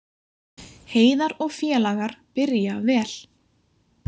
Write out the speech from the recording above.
Heiðar og félagar byrja vel